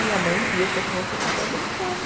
E a mãe viu que a criança estava brincando.